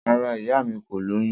Rara, iya mi ko loyun.